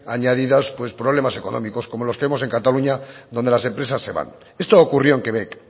añadidas pues problemas económicos como los que vemos en cataluña donde las empresas se van esto ocurrió en quebec